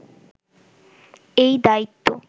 এই দায়িত্ব